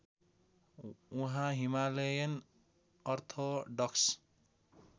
उहाँ Himalayan orthodox